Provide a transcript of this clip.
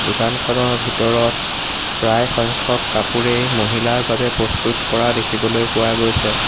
দোকানখনৰ ভিতৰত প্ৰায় সংখ্যক কাপোৰেই মহিলাৰ বাবে প্ৰস্তুত কৰা দেখিবলৈ পোৱা গৈছে।